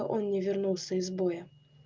он не вернулся из боя